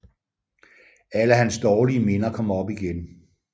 Alle hans dårlige minder kom op igen